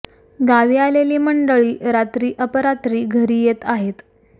गावी आलेली मंडळी रात्री अपरात्री घरी येत आहेत